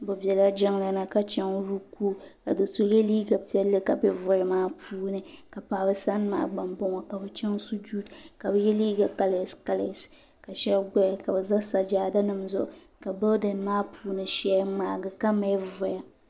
Bi bela jiŋli ni ka chaŋ rukuuyi ka doo so yɛ liiga piɛlli ka bɛ voli maa puuni ka paɣaba sani maa gba n bɔŋo ka bi chaŋ sujuud ka bi yɛ liiga kalɛs kalɛs ka shɛba gbaya ka bi za sajaada nima zuɣu ka bilidin maa puuni shɛli ŋmaagi ka mali voya.